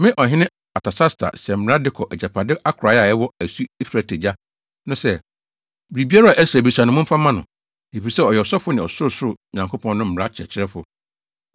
Me ɔhene Artasasta, hyɛ mmara de kɔ agyapade akorae a ɛwɔ asu Efrate agya no sɛ: Biribiara a Ɛsra bisa no, momfa mma no, efisɛ ɔyɛ ɔsɔfo ne ɔsorosoro Nyankopɔn no mmara kyerɛkyerɛfo.